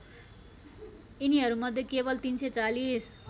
यिनिहरूमध्ये केवल ३४०